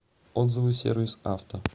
отзывы сервис авто